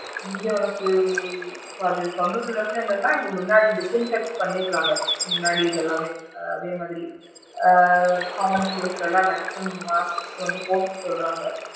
இங்க உனக்கு அப்படி சொன்னதுல இருந்து என்னானா இங்க முன்னாடி defend cut பண்ணிடுறாங்க முன்னாடி இது எல்லாமே அதே மாதிரி ஆ common place ல லா maximum mask வந்து போட்டுக்க சொல்றாங்க.